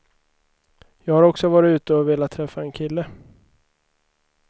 Jag har också varit ute och velat träffa en kille.